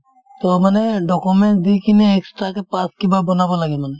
to মানে documents দি কিনে extra কে pass কিবা বনাব লাগে মানে